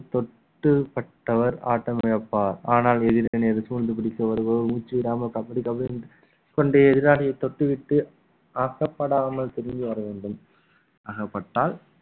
தொட்டு பட்டவர் ஆட்டம் இழப்பார் ஆனால் இதில் எதிரணி அது சூழ்ந்து பிடிக்க வருபவர் மூச்சு விடாமல் கபடி கபடி கொண்டு எதிராளியை தொட்டுவிட்டு ஆகப்படாமல் திரும்பி வர வேண்டும் அகப்பட்டால்